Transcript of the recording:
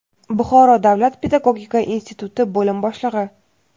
Buxoro davlat pedagogika instituti bo‘lim boshlig‘i;.